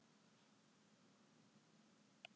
Aðrir algengir staðir eru munnhol, augu og kynfæri.